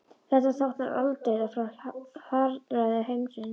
Þetta táknar aldauða frá harðræði heimsins.